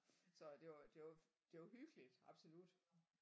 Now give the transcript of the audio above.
Så det var det var det var hyggeligt absolut